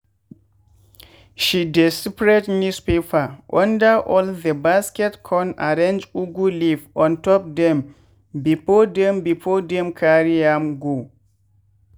she dey spread newspaper under all the basket con arrange ugu leaf ontop dem before dem before dem carry am go.